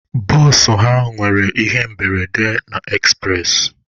Bụsụ ha nwere ihe mberede na ekspụres.